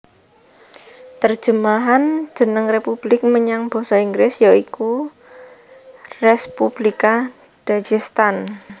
Terjemahan jeneng republik menyang basa Inggris ya iku Respublika Dagestan